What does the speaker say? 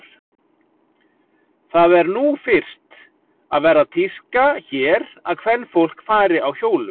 Það er nú fyrst að verða tíska hér að kvenfólk fari á hjólum.